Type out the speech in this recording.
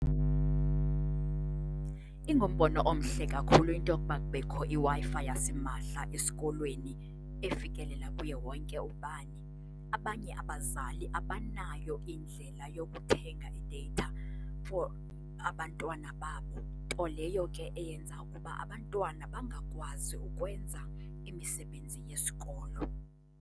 Ingumbono omhle kakhulu into yokuba kubekho iWi-Fi yasimahla esikolweni efikelela kuye wonke ubani. Abanye abazali abanayo yho indlela yokuthenga i-data for abantwana babo, nto leyo ke eyenza ukuba abantwana bangakwazi ukwenza imisebenzi yesikolo.